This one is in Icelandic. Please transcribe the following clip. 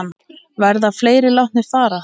Verða fleiri látnir fara?